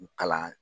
Kalan